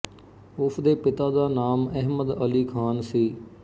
ਉਸਦੇ ਪਿਤਾ ਦਾ ਨਾਂਮ ਅਹਿਮਦ ਅਲੀ ਖ਼ਾਨ ਸੀ